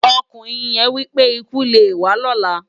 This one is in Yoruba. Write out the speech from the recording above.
Òkúnrin yén wipé: "ikú lé wá lòlá".